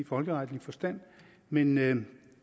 folkeretlig forstand men men